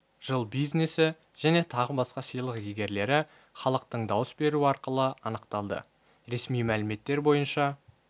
жыл бизнесі және тағы басқа сыйлық иегерлері іалықтың дауыс беруі арқылы анықталды ресми мәліметтер бойынша